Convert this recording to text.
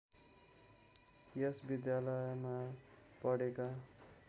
यस विद्यालयमा पढेका